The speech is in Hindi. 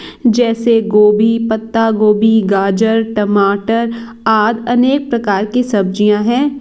जैसे गोभी पत्ता गोभी गाजर टमाटर आद अनेक प्रकार की सब्जियां है।